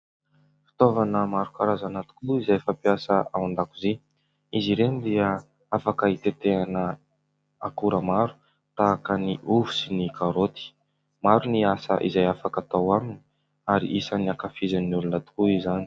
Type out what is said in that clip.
Fitaovana maro karazana tokoa moa izay fampiasa ao an-dakozia. Izy ireny dia afaka itetehana akora maro tahaka ny ovy sy ny karaoty. Maro ny asa izay afaka atao aminy ary isany ankafizin'ny olona tokoa izany.